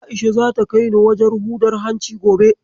A'isha zata kai ni wajen hudar hanci gobe.